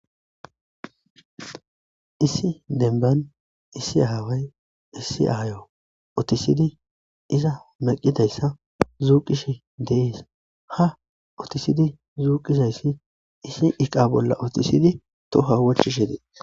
Issi denban issi aaway issi ayo otisidi iza maqidayssa zuuqishe deees ha otisidi zuuqizayssi issi iqa bolla otisidi toho wochishe dee.